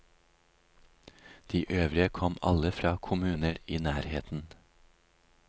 De øvrige kom alle fra kommuner i nærheten.